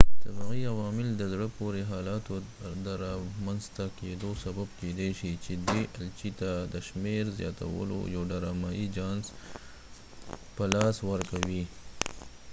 طبعی عوامل د زړه پورې حالاتو د رامنځ ته کېدو سبب کېدای شي چې دي الچې ته د شمیر زیاتولو یو ډرامایې جانس په لاس ورکوي